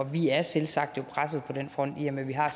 vi er selvsagt jo presset på den front i og med at vi har